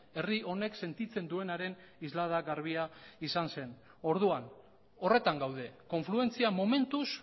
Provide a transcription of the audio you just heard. orduan horretan gaude konfluentzia